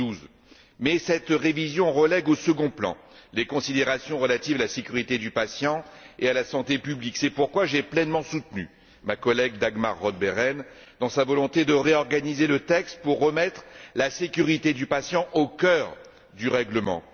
2012. Toutefois, elle relègue au second plan les considérations relatives à la sécurité du patient et à la santé publique. C'est pourquoi j'ai pleinement soutenu ma collègue Dagmar Roth Behrendt dans sa volonté de réorganiser le texte pour remettre la sécurité du patient au cœur du règlement.